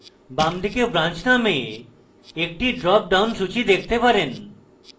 বামদিকে branch নামে একটি dropdown সূচী দেখতে পারেন